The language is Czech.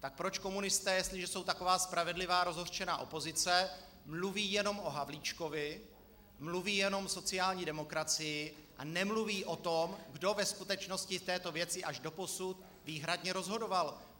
Tak proč komunisté, jestliže jsou taková spravedlivá rozhořčená opozice, mluví jenom o Havlíčkovi, mluví jenom o sociální demokracii a nemluví o tom, kdo ve skutečnosti v této věci až doposud výhradně rozhodoval.